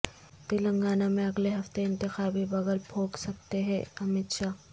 تلنگانہ میں اگلے ہفتے انتخابی بگل پھونک سکتے ہیں امت شاہ